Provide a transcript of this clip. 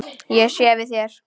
Ég sé við þér.